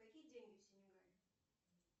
какие деньги в синегале